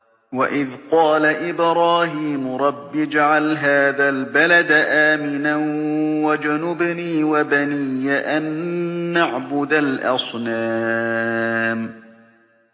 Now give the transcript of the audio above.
وَإِذْ قَالَ إِبْرَاهِيمُ رَبِّ اجْعَلْ هَٰذَا الْبَلَدَ آمِنًا وَاجْنُبْنِي وَبَنِيَّ أَن نَّعْبُدَ الْأَصْنَامَ